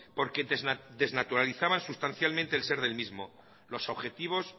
porque desnaturalizaban sustancialmente el ser del mismo los objetivos